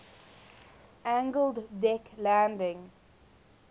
angled deck landing